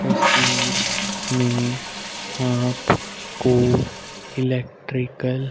तस्वीर में आपको इलेक्ट्रिकल --